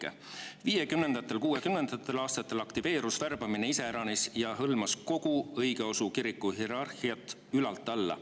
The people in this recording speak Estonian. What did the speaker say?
1950ndatel ja 1960ndatel aastatel aktiviseerus värbamine iseäranis ja hõlmas kogu õigeusu kiriku hierarhiat ülalt alla.